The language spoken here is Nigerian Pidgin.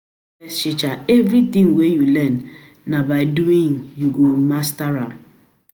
teacher, everything wey you learn, na by doing you go master am.